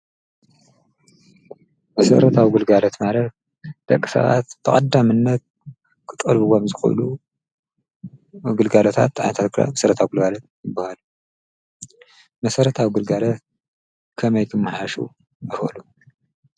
መሠረት ኣውጕልጋለት ማለር ደቂሰባት ተቐዳ ምነት ክጠልብዎምዝኾሉ ኣግልጋለታት ኣታልራ ምሠረት ኣጕልጋለት ይበሃል መሠረት ኣውግልጋለት ከመይቲምሓሹ እፈሉ።